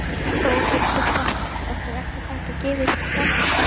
Þórhildur Þorkelsdóttir: Ekkert hægt að gefa sér í því samhengi?